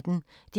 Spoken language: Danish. DR P1